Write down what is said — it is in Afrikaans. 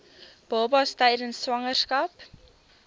babas tydens swangerskap